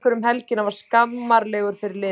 Þessi leikur um helgina var skammarlegur fyrir liðið.